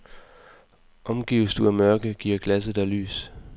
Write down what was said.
Omgives du af mørke, giver glasset dig lys.